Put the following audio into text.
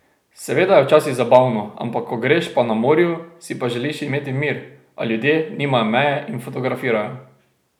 Seveda je včasih zabavno, ampak ko greš pa na morju, si pa želiš imeti mir, a ljudje nimajo meje in fotografirajo.